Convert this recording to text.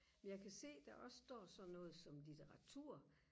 jeg kan se der også står sådan noget som litteratur